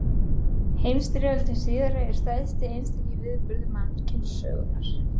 Heimsstyrjöldin síðari er stærsti einstaki atburður mannkynssögunnar.